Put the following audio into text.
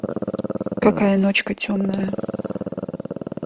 какая ночка темная